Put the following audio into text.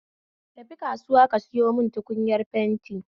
Tafi kasuwa ka sayo mun tukunyar fenti